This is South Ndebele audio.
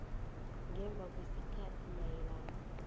ngemva kwesikhathi mayelana